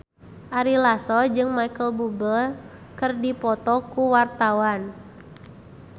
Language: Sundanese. Ari Lasso jeung Micheal Bubble keur dipoto ku wartawan